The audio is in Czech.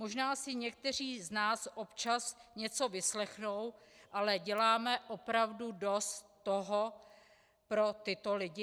Možná si někteří z nás občas něco vyslechnou, ale děláme opravdu toho dost pro tyto lidi?